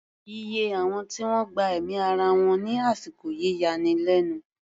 Iye àwọn tí wọ́n gba ẹ̀mí ara wọn ní àsìkò yìí yani lẹ́nu.